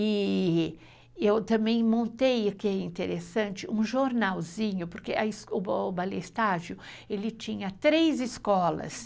E eu também montei, o que é interessante, um jornalzinho, porque a escola... o Balé Estágio ele tinha três escolas.